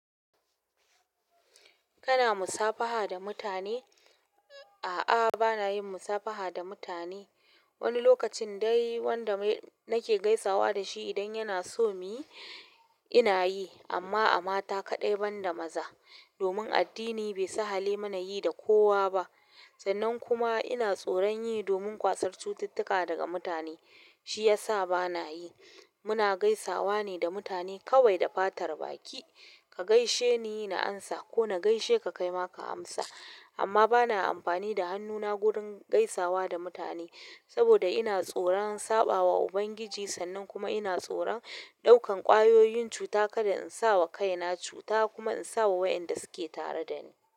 Kana musafaha da mutane? A'a, bana yin musafaha da mutane. Wani lokacin dai wanda na ke gaisawa da shi idan ya na so mu yi ina yi, amma a mata kaɗai banda maza domin addini bai sahale mana yi da kowa ba. Sannan kuma ina tsoron yi domin kwasar cututtuka daga mutane shi ya sa ba na yi. Muna gaisawa ne da mutane kawai da fatar baki. Ka gaishe ni na ansa ko na gaishe ka kaima ka amsa amma bana amfani da hannuna gurin gaisawa da mutane, saboda ina tsoron saɓawa Ubangiji sannan kuma ina tsoron ɗaukan ƙwayoyin cuta kada in sa wa kaina cuta kuma in sa wa wayanda su ke tare da ni.